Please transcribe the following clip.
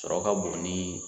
Sɔrɔ ka bon ni